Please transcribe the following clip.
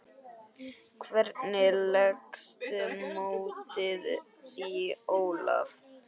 Hvernig leggst mótið í Ólaf?